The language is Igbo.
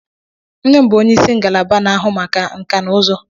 Nne m bụ ónyé ịsị ngalaba n'ahụ maka nka na uzu.